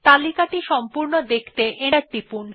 এই লিস্ট টি পুরো দেখতে এন্টার টিপুন